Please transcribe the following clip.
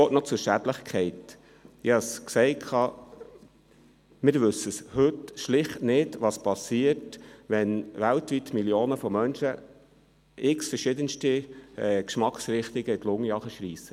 Ein Wort zur Schädlichkeit: Wir wissen heute schlicht nicht, was passiert, wenn weltweit Millionen von Menschen verschiedens- te Geschmacksrichtungen in die Lunge ziehen.